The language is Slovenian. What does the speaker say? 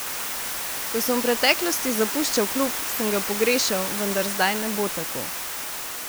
Ko sem v preteklosti zapuščal klub, sem ga pogrešal, vendar zdaj ne bo tako.